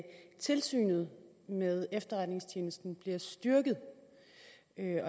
at tilsynet med efterretningstjenesten bliver styrket